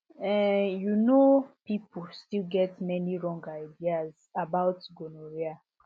um you know people still get many wrong ideas about gonorrhea